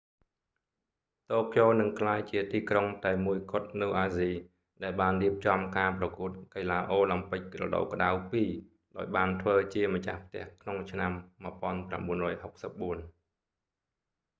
តូក្យូនឹងក្លាយជាទីក្រុងតែមួយគត់នៅអាស៊ីដែលបានរៀបចំការប្រកួតកីឡាអូឡាំពិករដូវក្តៅពីរ ដោយបានធ្វើជាម្ចាស់ផ្ទះក្នុងឆ្នាំ 1964